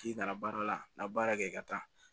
K'i nana baara la baara kɛ ka taa